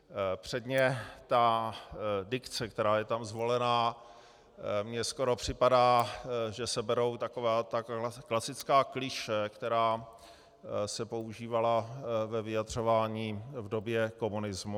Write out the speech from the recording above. Předně ta dikce, která je tam zvolená, mně skoro připadá, že se berou taková ta klasická klišé, která se používala ve vyjadřování v době komunismu.